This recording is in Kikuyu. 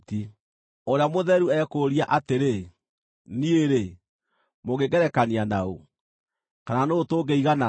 Ũrĩa Mũtheru ekũũria atĩrĩ, “Niĩ-rĩ, mũngĩngerekania na ũ? Kana nũũ tũngĩiganana?”